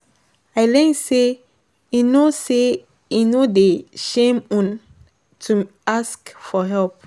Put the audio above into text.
I learn say e no say e no dey shame um to ask for help.